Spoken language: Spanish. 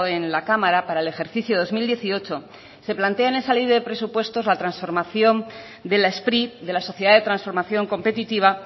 en la cámara para el ejercicio de dos mil dieciocho se plantea en esa ley de presupuestos la transformación de la spri de la sociedad de transformación competitiva